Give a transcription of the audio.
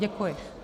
Děkuji.